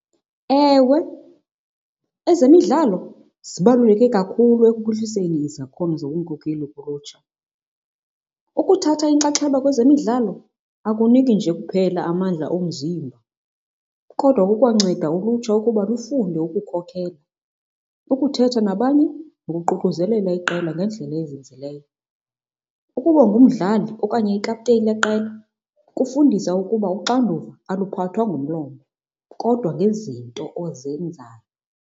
Ewe, ezemidlalo zibaluleke kakhulu ekuphuhliseni izakhono zobunkokeli kulutsha. Ukuthatha inxaxheba kwezemidlalo akuniki nje kuphela amandla omzimba kodwa kukwanceda ulutsha ukuba lufunde ukukhokhela, ukuthetha nabanye, nokuququzelela iqela ngendlela ezinzileyo. Ukuba ngumdlali okanye iikhaputeyini yeqela kufundisa ukuba uxanduva aluphathwa ngomlomo kodwa ngezinto ozenzayo.